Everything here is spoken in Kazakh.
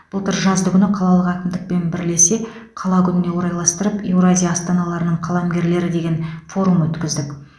былтыр жаздыгүні қалалық әкімдікпен бірлесе қала күніне орайластырып еуразия астаналарының қаламгерлері деген форум өткіздік